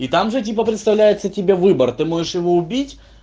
и там же типа представляется тебе выбор ты можешь его убить